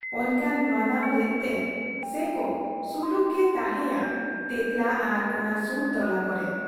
ᱚᱱᱠᱟᱱ ᱢᱟᱱᱟᱶ ᱞᱮᱫ ᱛᱮ ᱥᱮᱠ ᱥᱩᱞᱩᱠ ᱜᱮ ᱛᱟᱦᱮᱸᱭᱟ ᱛᱮᱸᱛᱞᱟ ᱟᱨ ᱚᱱᱟ ᱥᱩᱨ ᱴᱚᱞᱟ ᱠᱚᱨᱮ ᱾